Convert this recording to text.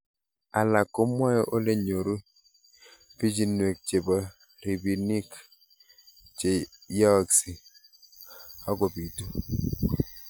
Alak komwae ole nyoru pichinwek chepo rabinik che yaakse akopitu